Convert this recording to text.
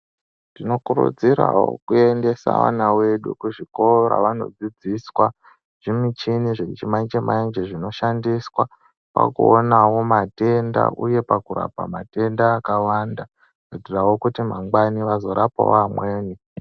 Tinokurudzirawo kuendesa vana vedu kuzvikora vandodzidziswa zvimichini zvechimanje manje zvinoshandiswa pakuonawo matenda uye pakurapa matenda akawanda kuitirawo kuti mangwani vazorapawo vamweni.